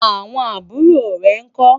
àwọn àbúrò rè nkó?